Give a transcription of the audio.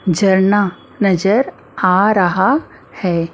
जरना नजर आ रहा है।